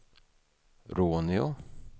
Råneå